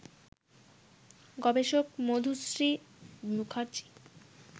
গবেষক মধুশ্রী মুখার্জি